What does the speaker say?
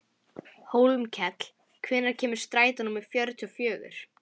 Hólmkell, hvenær kemur strætó númer fjörutíu og fjögur?